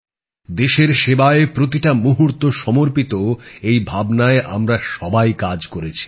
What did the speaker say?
দেশের সেবায় প্রতিটা মুহুর্ত সমর্পিত এই ভাবনায় আমরা সবাই কাজ করেছি